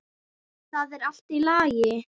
Það er allt í lagi